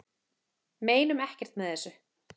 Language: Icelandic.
Meinum ekkert með þessu